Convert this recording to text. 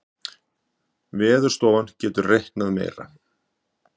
Veðurstofan getur reiknað meira